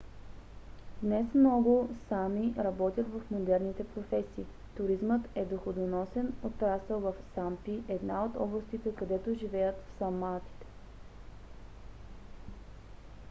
днес много саами работят в модерните професии. туризмът е доходоносен отрасъл в сампи една от областите където живеят саамите